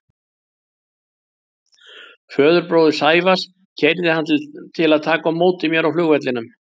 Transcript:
Föðurbróðir Sævars keyrði hann til að taka á móti mér á flugvellinum.